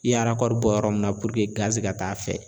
I ye bɔ yɔrɔ min na puruke ka taa a fɛ